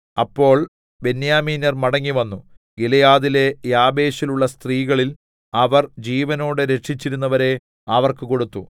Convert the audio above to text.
അപ്പോൾ ബെന്യാമീന്യർ മടങ്ങിവന്നു ഗിലെയാദിലെ യാബേശിലുള്ള സ്ത്രീകളിൽ അവർ ജീവനോടെ രക്ഷിച്ചിരുന്നവരെ അവർക്ക് കൊടുത്തു